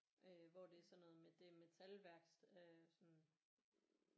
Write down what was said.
Øh hvor det er sådan noget med det er metalværksted øh sådan